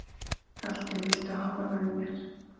Galti, viltu hoppa með mér?